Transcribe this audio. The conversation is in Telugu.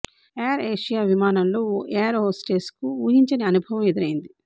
ఎయిర్ ఏషియా విమానంలో ఓ ఎయిర్ హోస్టెస్ కు ఊహించని అనుభవం ఎదురైంది